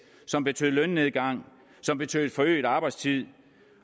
som betød lønnedgang som betød forøget arbejdstid